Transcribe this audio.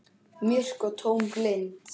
Myrk og tóm og blind.